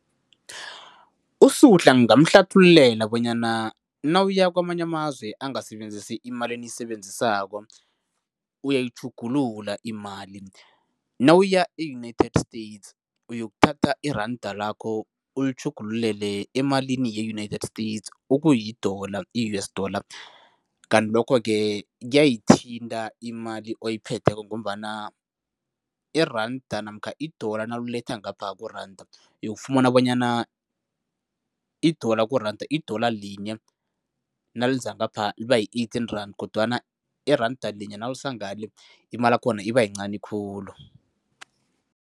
USuhla ngingamhlathululela bonyana nawuya kwamanye amazwe angasebenzisa imali eniyisebenzisako, uyayitjhugulula imali. Nawuya e-United States uyokuthatha iranda lakho ulitjhugululele emalini ye-United States okuyi-dollar, i-U_S dollar kanti lokho-ke kuyayithinta imali oyiphetheko ngombana iranda namkha i-dollar nawuletha ngapha kuranda, uyokufumana bonyana i-dollar kuranda, i-dollar linye naliza ngapha liba yi-eighteen rand kodwana iranda linye nawulisa ngale, imalakhona ibayincani khulu.